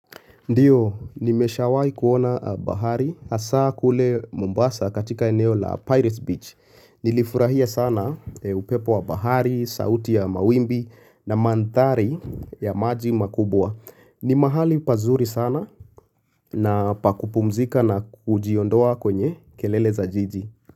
Ndiyo, nimeshawahi kuona bahari hasa kule mombasa katika eneo la Pirates Beach. Nilifurahia sana upepo wa bahari, sauti ya mawimbi na mandhari ya maji makubwa. Ni mahali pazuri sana na pa kupumzika na kujiondoa kwenye kelele za jiji.